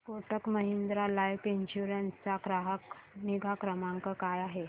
Kotak Mahindra life insurance चा ग्राहक निगा क्रमांक काय आहे